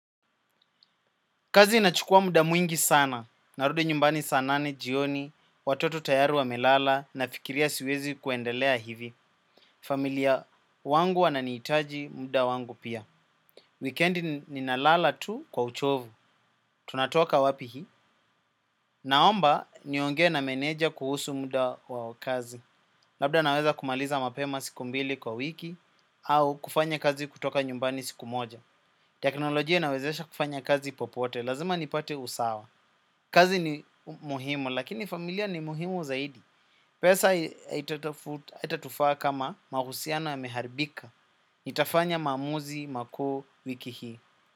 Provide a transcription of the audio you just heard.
Kazi inachukua muda mwingi sana. Narudi nyumbani saa nane, jioni, watoto tayari wamelala nafikiria siwezi kuendelea hivi. Familia wangu wananiitaji muda wangu pia. Weekendi ninalala tu kwa uchovu. Tunatoka wapi hii? Naomba niongee na meneja kuhusu muda wa kazi. Labda naweza kumaliza mapema siku mbili kwa wiki au kufanya kazi kutoka nyumbani siku moja. Teknolojia inawezesha kufanya kazi popote. Lazima nipate usawa. Kazi ni muhimu, lakini familia ni muhimu zaidi. Pesa haitatufaa kama mahusiana yameharbika. Itafanya maamuzi, makuu, wiki hii.